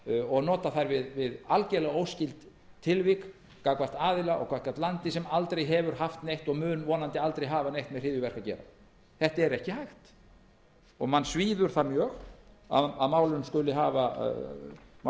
og nota þær við algerlega óskyld tilvik gagnvart aðila og gagnvart landi sem aldrei hefur haft neitt og mun vonandi aldrei hafa neitt með hryðjuverk að gera þetta er ekki hægt manni svíður það mjög að mál